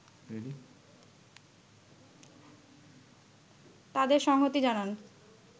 তাদের সংহতি জানান